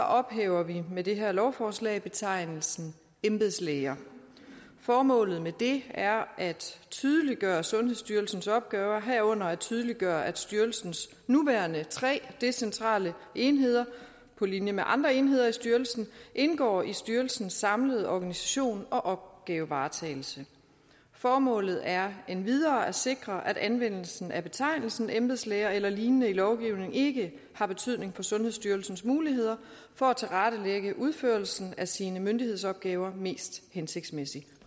ophæver vi med det her lovforslag betegnelsen embedslæger formålet med det er at tydeliggøre sundhedsstyrelsens opgaver herunder at tydeliggøre at styrelsens nuværende tre decentrale enheder på linje med andre enheder i styrelsen indgår i styrelsens samlede organisation og opgavevaretagelse formålet er endvidere at sikre at anvendelsen af betegnelsen embedslæger eller lignende i lovgivningen ikke har betydning for sundhedsstyrelsens muligheder for at tilrettelægge udførelsen af sine myndighedsopgaver mest hensigtsmæssigt